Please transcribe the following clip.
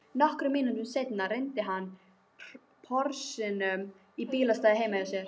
Nokkrum mínútum seinna rennir hann Porsinum í bílastæðið heima hjá